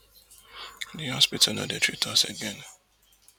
di hospital no dey treat us again